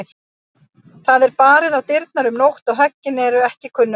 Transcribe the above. Það er barið á dyrnar um nótt og höggin ekki kunnugleg.